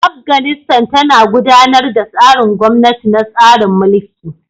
Afganistan tana gudanar da tsarin gwamnati na tsarin mulki.